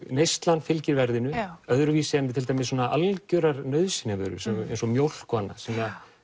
neyslan fylgir verðinu öðruvísi en svona algjörar nauðsynjavörur eins og mjólk og annað sem að